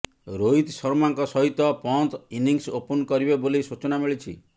ରୋହିତ ଶର୍ମାଙ୍କ ସହିତ Pant innings open କରିବେ ବୋଲି ସୂଚନା ମିଳିଛି